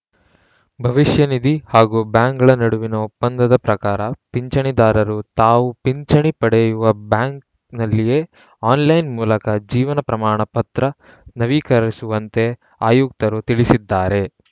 ಭವಿಷ್ಯನಿಧಿ ಹಾಗೂ ಬ್ಯಾಂಕ್‌ಗಳ ನಡುವಿನ ಒಪ್ಪಂದದ ಪ್ರಕಾರ ಪಿಂಚಣಿದಾರರು ತಾವು ಪಿಂಚಣಿ ಪಡೆಯುವ ಬ್ಯಾಂಕಿನಲ್ಲಿಯೇ ಆನ್‌ಲೈನ್‌ ಮೂಲಕ ಜೀವನ ಪ್ರಮಾಣ ಪತ್ರ ನವೀಕರಿಸುವಂತೆ ಆಯುಕ್ತರು ತಿಳಿಸಿದ್ದಾರೆ